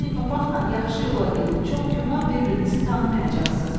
Poni papaqla yaxşı yola gedin, çox güman, bir-birinizi tanımayacaqsınız.